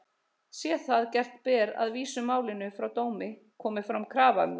Sé það gert ber að vísa málinu frá dómi, komi fram krafa um það.